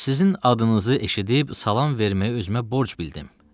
Sizin adınızı eşidib salam verməyi özümə borc bildim.